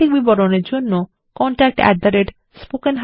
অধিক বিবরণের জন্য contactspoken tutorialorg তে ইমেল করুন